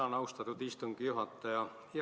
Tänan, austatud istungi juhataja!